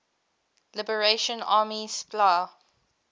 liberation army spla